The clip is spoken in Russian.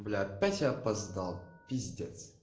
бля опять я опоздал пиздец